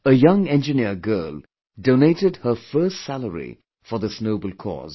A young engineer girl donated her first salary for this noble cause